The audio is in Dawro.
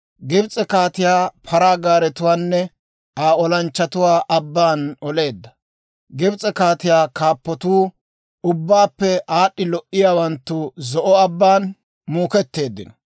Gibs'e kaatiyaa paraa gaaretuwaanne Aa olanchchatuwaa abbaan oleedda. Gibs'e kaatiyaa kaappatuu, ubbaappe aad'd'i lo"iyaawanttu Zo'o Abbaan muuketteeddino.